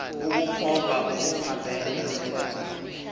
ukukhomba okuphambene nomthetho